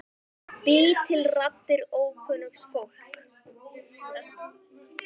Ég bý til raddir ókunnugs fólks.